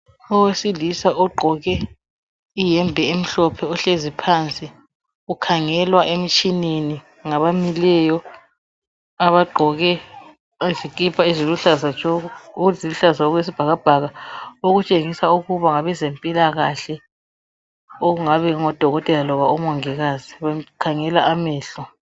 Owesilisa ogqoke iyembe emhlophe, ohlezi phansi. Ukhangelwa emtshineni, ngabamileyo. Abagqoke izikipa eziluhlaza okwesibhakabhaka. Okutshengisa ukuba ngabezempilakahle. Okungaba kungodokokotela, kumbe omongikazi. Bamkhangela amehlo.